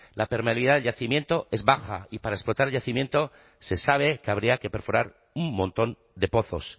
la permeabilidad del yacimiento es baja y para explotar yacimiento se sabe que habría que perforar un montón de pozos